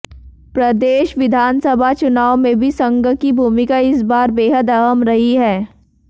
प्रदेश विधानसभा चुनाव में भी संघ की भूमिका इस बार बेहद अहम रही है